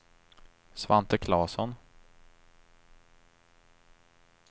Svante Klasson